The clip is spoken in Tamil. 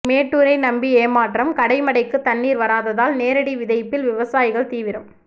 மேட்டூரை நம்பி ஏமாற்றம் கடைமடைக்கு தண்ணீர் வராததால் நேரடி விதைப்பில் விவசாயிகள் தீவிரம்